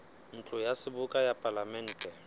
ntlo ya seboka ya palamente